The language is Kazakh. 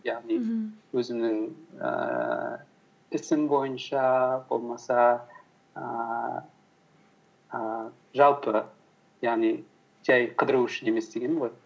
яғни мхм өзімнің ііі ісім бойынша болмаса ііі жалпы яғни жай қыдыру үшін емес дегенім ғой